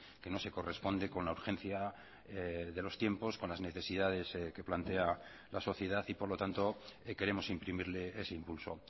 que no se corresponde con la urgencia de los tiempos con las necesidades que plantea la sociedad y por lo tanto queremos imprimirle ese impulso